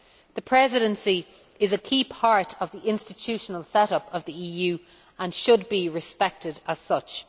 The Presidency is a key part of the institutional set up of the EU and should be respected as such.